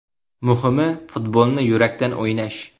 Muhimi, futbolni yurakdan o‘ynash.